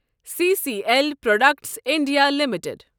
C C L products India limited